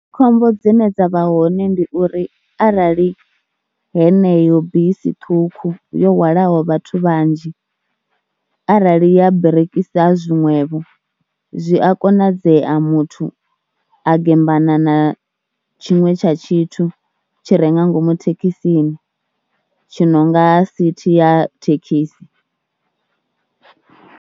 Khombo dzine dza vha hone ndi uri arali heneyo bisi ṱhukhu yo hwalaho vhathu vhanzhi arali ya birikisa zwiṅwevho zwi a konadzea muthu a gembana na tshiṅwe tsha tshithu tshi re nga ngomu thekhisini tshi no nga sithi ya thekhisi.